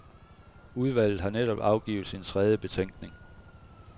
Udvalget har netop afgivet sin tredje betænkning.